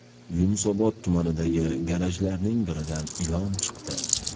Yunusobod tumanidagi garajlarning biridan ilon chiqdi.